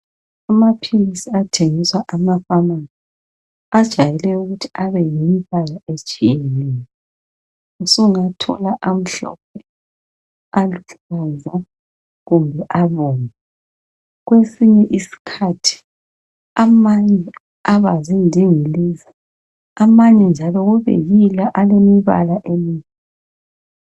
Amaphilisi athengiswa amafamasi ajayele ukuthi abe yimbala etshiyeneyo. Usungathola amhlophe, aluhlaza kumbe abomvu. Kwesinye iskhathi amanye aba zindingilizi. Amanye njalo kube yila alemibala emi.